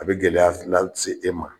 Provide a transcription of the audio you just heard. A bɛ gɛlɛya fila se e ma